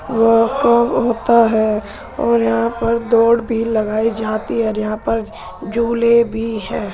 वह है और यहाँ पर दौड़ भी लगाई जाती है और यहां पर झूले भी है।